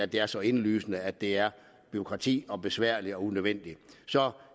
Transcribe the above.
det er så indlysende at det er bureaukratisk besværligt og unødvendigt så